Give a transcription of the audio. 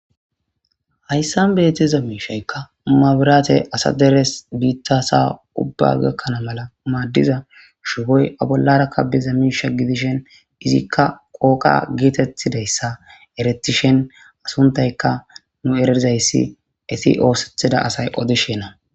hayssan beetiza miishaykka mabiraate asa deres biittasa ubba gakkana mala maaddiza shuhoy abollarakka biza miisha gidishen izikka qooqa geetettidayssa eretishen asuntayka nu erizayssi isi oosethida asay odishenna